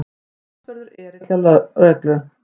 Talsverður erill hjá lögreglu